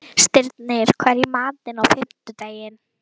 Stirnir, hvað er í matinn á fimmtudaginn?